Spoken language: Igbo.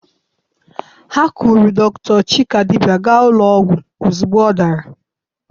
Ha kpụrụ dọkịta Chikadibia gaa ụlọ ọgwụ ozugbo ọ dara.